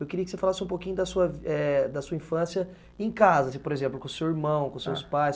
Eu queria que você falasse um pouquinho da sua é da sua infância em casa, por exemplo, com o seu irmão, com os seus pais.